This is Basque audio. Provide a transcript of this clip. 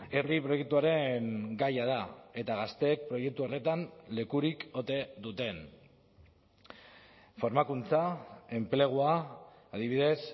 herri proiektuaren gaia da eta gazteek proiektu horretan lekurik ote duten formakuntza enplegua adibidez